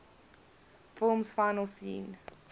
film's final scene